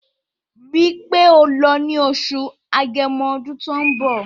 Rí í pé o lọ ní Oṣù Agẹmọ ọdún tó ń bọ̀